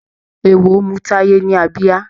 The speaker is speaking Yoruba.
Eéwo mú Táyé ní abíyá.